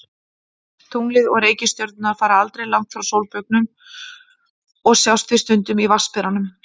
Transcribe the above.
Tunglið og reikistjörnurnar fara aldrei langt frá sólbaugnum og sjást því stundum í Vatnsberanum.